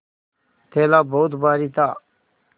थैला बहुत भारी था